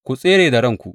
Ku tsere da ranku!